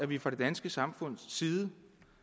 vi fra det danske samfunds side